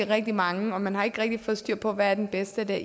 rigtig mange og man har ikke rigtig fået styr på hvad den bedste er